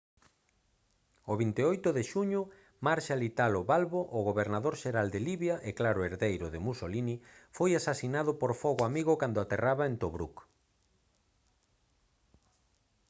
o 28 de xuño marshal italo balbo o gobernador xeral de libia e claro herdeiro de mussolini foi asasinado por fogo amigo cando aterraba en tobruk